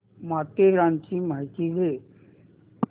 माथेरानची माहिती दे